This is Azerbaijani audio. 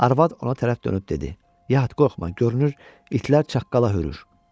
Arvad ona tərəf dönüb dedi: Yat, qorxma, görünür itlər çaqqala hürür.